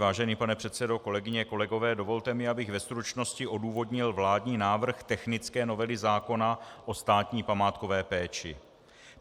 Vážený pane předsedo, kolegyně, kolegové, dovolte mi, abych ve stručnosti odůvodnil vládní návrh technické novely zákona o státní památkové péči.